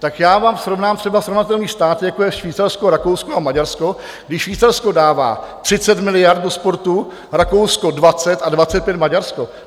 Tak já vám srovnám třeba srovnatelný stát, jako je Švýcarsko, Rakousko a Maďarsko, kdy Švýcarsko dává 30 miliard do sportu, Rakousko 20 a 25 Maďarsko.